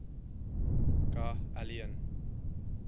ga aliyin